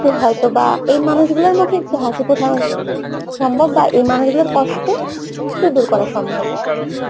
একটু হয়তোবা এই মানুষগুলোর মুখে একটু হাসি ফোটানো সম্ভব বা এই মানুষগুলোর কষ্ট একটু দূর করা সম্ভব